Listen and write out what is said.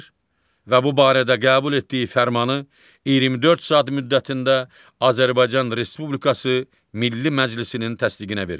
və bu barədə qəbul etdiyi fərmanı 24 saat müddətində Azərbaycan Respublikası Milli Məclisinin təsdiqinə verir.